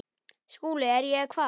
SKÚLI: Er ég hvað?